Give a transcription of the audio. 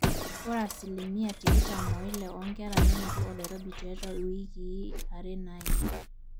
ore asilimia tikitam oile oonkera nenoto oloirobi tiatua iwikii are naaima